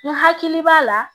N hakili b'a la